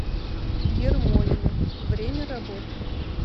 ермолино время работы